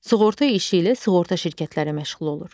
Sığorta işi ilə sığorta şirkətləri məşğul olur.